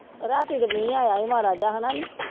ਰਾਤੀ ਤਾਂ ਮੀਂਹ ਆਇਆ ਸੀ ਮਾੜਾ ਜਿਹਾ ਹੈ ਨਾ ਨੀਂ